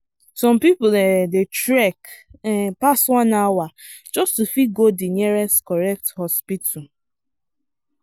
some people um dey trek um pass one hour just to fit go the nearest correct hospital.